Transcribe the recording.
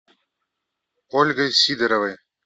ольгой сидоровой